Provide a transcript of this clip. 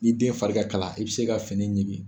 Ni den fari ka kala, i bɛ se ka fini ɲigin.